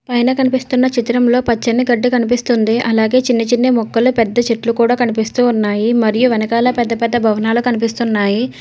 పైనా కనిపిస్తున్న చిత్రంలో పచ్చని గడ్డి కనిపిస్తుంది అలాగే చిన్నచిన్న మొక్కలు పెద్ద చెట్లు కూడా కనిపిస్తూ ఉన్నాయి మరియు వెనకాల పెద్ద పెద్ద భవనాల కనిపిస్తున్నాయి.